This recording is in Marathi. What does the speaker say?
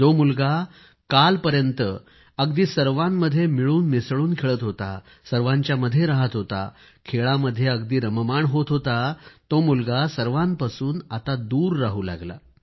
जो मुलगा कालपर्यंत अगदी सर्वांमध्ये मिळून मिसळून खेळत होता सर्वांच्यामध्ये रहात होता खेळामध्ये अगदी रममाण होत होता तो मुलगा सर्वांपासून आता दूर राहू लागला